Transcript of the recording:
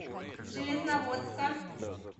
железноводска